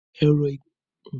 Ẹ̀rọ ìgẹrun ṣe é fá irun àgbọ̀n.